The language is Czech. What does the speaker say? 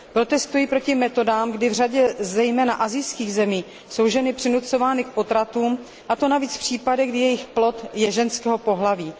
Protestuji proti metodám, kdy v řadě zejména asijských zemí jsou ženy přinucovány k potratům, a to zejména v případech, kdy je jejich plod ženského pohlaví.